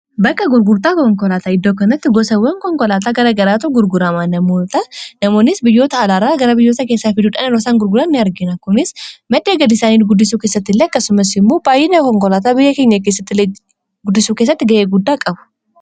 Bakka gurgurtaa konkolaataa iddoo kanatti gosawwan konkolaataa gara garaatu gurgurama namoonnis biyyoota alaarraa gara biyyoota keessaa fiduudhaan yerosaan gurguran ni argina kunis maddhee gaiisaanii guddisuu keessatti ilee akkasumas immoo baay'ina konkolaataa biyya keenya guddisuu keessatti ga'ee guddaa qabu.